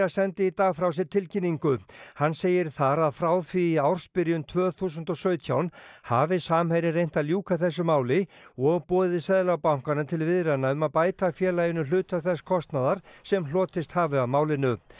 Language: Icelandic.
sendi í dag frá sér tilkynningu hann segir þar að frá því í ársbyrjun tvö þúsund og sautján hafi Samherji reynt að ljúka þessu máli og boðið Seðlabankanum til viðræðna um að bæta félaginu hluta þess kostnaðar sem hlotist hafi af málinu